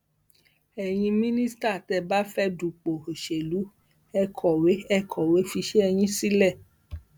ẹyin mínísítà tẹ ẹ bá fẹẹ dupò òṣèlú ẹ kọwé ẹ kọwé fiṣẹ yín sílẹ